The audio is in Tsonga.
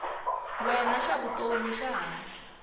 wena xa vutomi xa ha